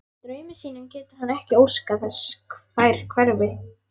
Í draumi sínum getur hann ekki óskað þess þær hverfi.